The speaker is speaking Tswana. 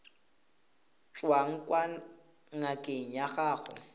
tswang kwa ngakeng ya gago